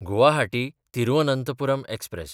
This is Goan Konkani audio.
गुवाहाटी–तिरुअनंथपुरम एक्सप्रॅस